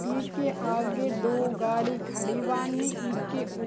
ईके आगे दो गाड़ी खड़ी बानी ईके उ --